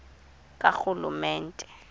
karhulumente